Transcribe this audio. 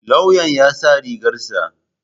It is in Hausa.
Lauyan ya sa rigar sa.